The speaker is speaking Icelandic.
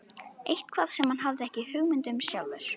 Eitthvað sem hann hafði ekki hugmynd um sjálfur.